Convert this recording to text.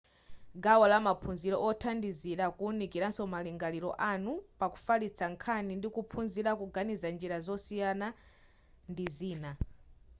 gawo lamaphunziro othandizira kuwunikiranso malingaliro anu pakufalitsa nkhani ndikuphunzira kuganiza njira zosiyana ndi zina